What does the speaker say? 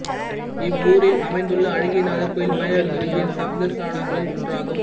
இவ் வூரில் அமைந்துள்ள அழகியநாதர் கோயில் மயிலாடுதுறையின் சப்தஸ்தானங்களுள் ஒன்றாகும்